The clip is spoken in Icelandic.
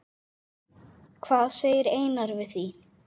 Hvað segir Einar við því?